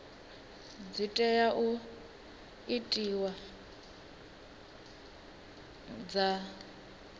dzi tea u itiwa dza